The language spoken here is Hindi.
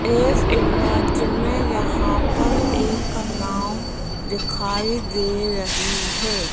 इस इमेज में यहां पर एक नाव दिखाई दे रही है।